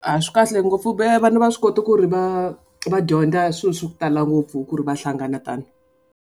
A swi kahle ngopfu vana va swi kota ku ri va va dyondza swilo swa ku tala ngopfu ku ri va hlangana tano.